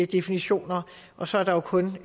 definitioner og så er der jo kun